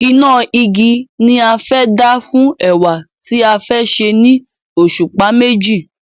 Iná igi ni a fẹ́ dá fún ẹ̀wà tí a fẹ́ sè ni òṣùpá meji